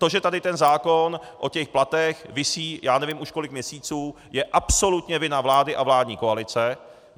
To, že tady ten zákon o těch platech visí já nevím už kolik měsíců, je absolutně vina vlády a vládní koalice.